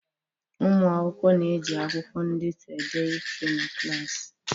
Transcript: Ụmụ akwụkwọ na-eji akwụkwọ ndetu ede ihe na klaasị.